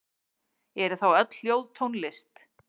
Eru þá öll hljóð tónlist?